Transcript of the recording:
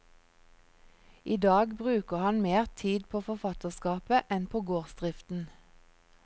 I dag bruker han mer tid på forfatterskapet enn på gårdsdriften.